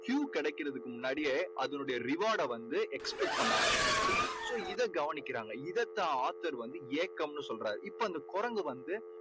Q கிடைக்கறதுக்கு முன்னாடியே அதோட reward டை வந்து expect பண்ண ஆரம்பிச்சுருச்சு. so இதை கவனிக்கிறாங்க. இதைத் தான் author வந்து ஏக்கம்னு சொல்றாரு இப்போ அந்த குரங்கு வந்து